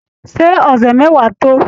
Ṣé ọ̀sẹ̀ mẹ́wàá tó?